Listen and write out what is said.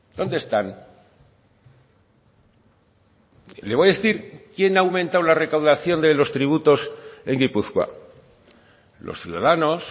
dónde están le voy a decir quien ha aumentado la recaudación de los tributos en gipuzkoa los ciudadanos